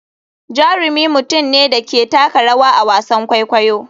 Jarumi mutum ne da ke taka rawa a wasan kwaikwayo.